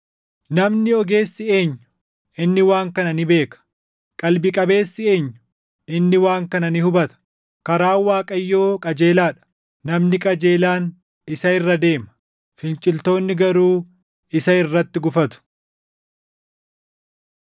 Namni ogeessi eenyu? Inni waan kana ni beeka. Qalbii qabeessi eenyu? Inni waan kana ni hubata. Karaan Waaqayyoo qajeelaa dha; namni qajeelaan isa irra deema; finciltoonni garuu isa irratti gufatu.